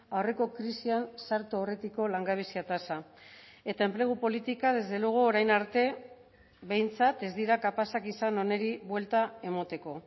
aurreko krisian sartu aurretiko langabezia tasa eta enplegu politika desde luego orain arte behintzat ez dira kapazak izan honi buelta emateko